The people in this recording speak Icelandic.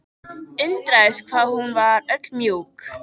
Undraðist hvað hún var öll mjúk.